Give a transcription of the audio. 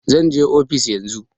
Zan je ofis yan zun